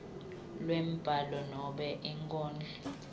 lwembhalo nobe inkondlo